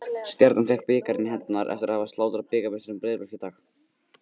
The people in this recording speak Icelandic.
Stjarnan fékk bikarinn í hendurnar eftir að hafa slátrað bikarmeisturum Breiðabliks í dag.